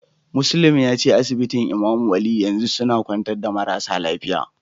Muslim yace asibitin Imamu wali yanzu suna kwantar da marasa lafiya.